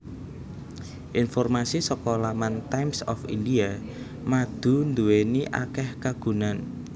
Informasi saka laman Times of India madu nduwéni akéh kagunan